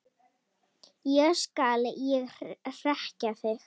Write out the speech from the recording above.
Ekki skal ég hrekkja þig.